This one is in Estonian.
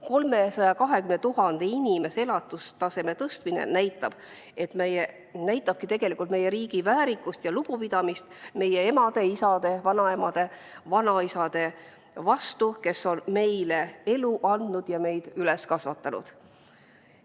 320 000 inimese elatustaseme tõstmine näitabki tegelikult meie riigi väärikust ja lugupidamist meie emade, isade, vanaemade ja vanaisade vastu, kes on meile elu andnud ja meid üles kasvatanud.